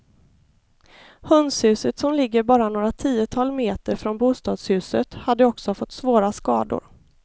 Hönshuset som ligger bara några tiotal meter från bostadshuset hade också fått svåra skador.